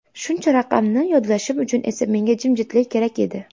Shuncha raqamni yodlashim uchun esa menga jimjitlik kerak edi.